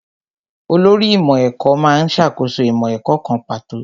Olórí ìmọ̀ ẹ̀kọ́ má ń ṣàkóso ìmọ̀ ẹ̀kọ́ kan pàtó